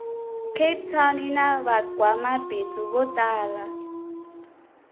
cape town yinavangwamabhindzu votala